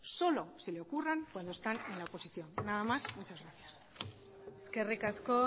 solo se le ocurran cuando están en la oposición nada más muchas gracias eskerrik asko